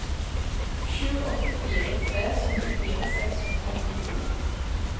sju åtte fire tre syttifire seks hundre og åttito